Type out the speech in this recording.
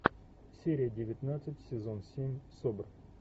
серия девятнадцать сезон семь собр